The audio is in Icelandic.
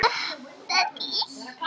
Tímann hafði hann notað vel.